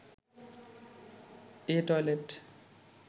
A toilet